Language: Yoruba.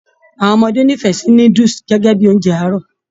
Àwọn ọmọdé n'ifẹ sí núdúsí gẹgẹ bíi oúnjẹ àárọ̀.